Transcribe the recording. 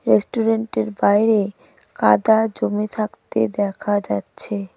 রেস্টুরেন্টের বাইরে কাদা জমে থাকতে দেখা যাচ্ছে.